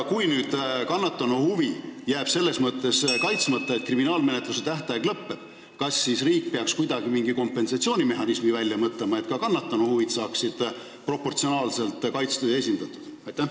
Kui kannatanu huvid jäävad sellepärast kaitsmata, et kriminaalmenetluse tähtaeg lõpeb, kas siis riik peaks mingi kompensatsioonimehhanismi välja mõtlema, et ka kannatanu huvid oleksid proportsionaalselt kaitstud ja esindatud?